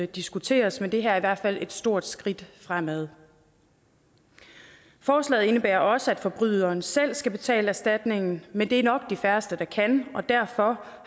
diskuteres men det her er i hvert fald et stort skridt fremad forslaget indebærer også at forbryderen selv skal betale erstatningen men det er nok de færreste der kan og derfor